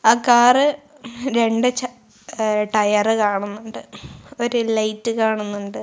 ആ കാർ രണ്ട് ചാ ഏഹ് ടയർ കാണുന്നുണ്ട് ഒരു ലൈറ്റ് കാണുന്നുണ്ട്.